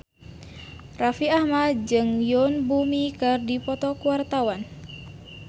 Raffi Ahmad jeung Yoon Bomi keur dipoto ku wartawan